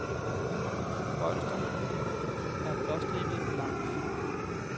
Bolstrene er blåstribede på langs.